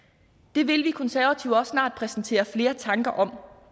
det vil vi konservative også snart præsentere flere tanker om